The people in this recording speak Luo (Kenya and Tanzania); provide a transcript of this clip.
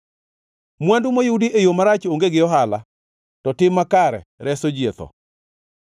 Mwandu moyudi e yo marach onge gi ohala; to tim makare reso ji e tho.